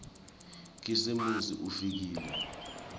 khisimusi ufikile